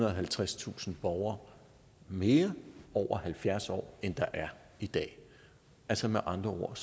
og halvtredstusind borgere mere over halvfjerds år end der er i dag altså med andre ord